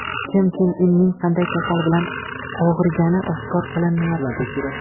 Kim Chen Inning qanday kasal bilan og‘rigani oshkor qilinmayapti.